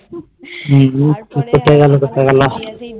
বুক ফেটে গেল সকালবেলা